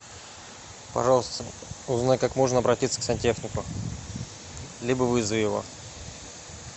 пожалуйста узнай как можно обратиться к сантехнику либо вызови его